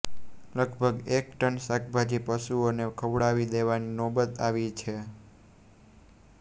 લગભગ એક ટન શાકભાજી પશુઓને ખવડાવી દેવાની નોબત આવી છે